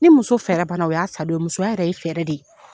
Ni muso fɛrɛ bana o y'a sadon ye musoya yɛrɛ ye fɛrɛ de ye